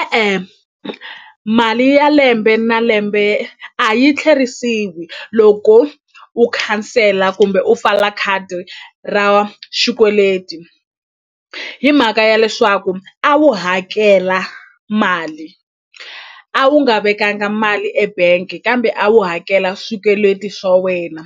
E-e mali ya lembe na lembe a yi tlherisiwi loko u khansela kumbe u pfala khadi ra xikweleti hi mhaka ya leswaku a wu hakela mali a wu nga vekanga mali ebank kambe a wu hakela swikweleti swa wena